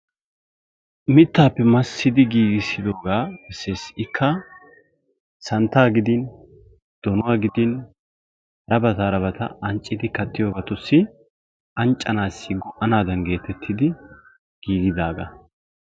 Mitaappe massidi giigisidoogaa issi issi ikka santaa gidin donuwa gidin ha bagaara anccidi kattiyoobatussi anccanaadan giigidaagaa.